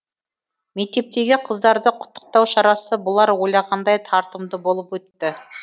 мектептегі қыздарды құттықтау шарасы бұлар ойлағандай тартымды болып өтті